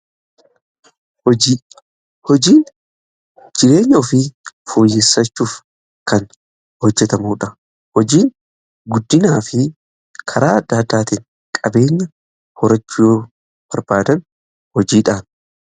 hojii, hojiin jireenya ofii fooyyesachuuf kan hojjetamuudha hojiin guddinaa fi karaa adda addaatiin qabeenya horachuu barbaadan hojiidhaan.